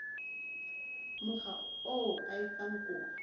mokga oo a etsang kopo